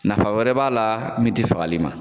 Nafa wɛrɛ b'a la min ti fagali ma